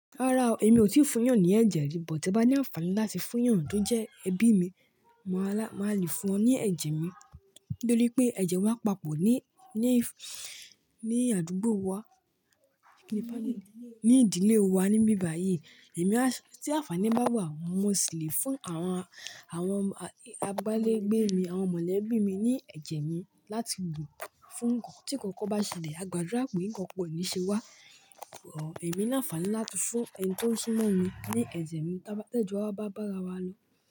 Rárá o, èmi ò tíì fún ìyàn ní ẹ̀jẹ̀ rí, bòtí bá ní àǹfàní láti fún ìyàn tó jẹ́ ẹbí mi, màá lále, màá lè fún ọ ní ẹ̀jẹ̀ mi nítorí pé ẹ̀jẹ̀ wa papọ̀ ní, ní, ní àdúgbò wa, ní ìdílé wa níbi báyìí. Èmi á sì àǹfàní báwo àwọn ọmọ sì lè fún àwọn, àwọn àgbálégbé mi àwọn mọ̀lẹ́bí mi ní ẹ̀jẹ̀ mi láti wò fún nǹkan tí kankan bá ṣẹlẹ̀, a gbàdúrà pè kí kankan ò ní ṣe wá. Ò, èmi láǹfàní láti fún ẹni tó ṣíná mi ní ẹ̀jẹ̀ mi tó bá tẹ́jú a bá bára wa lọ.